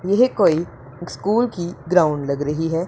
यह कोई स्कूल की ग्राउंड लग रही है।